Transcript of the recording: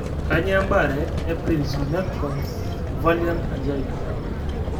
kanyioo embaare e Prinzmetal's variant angina?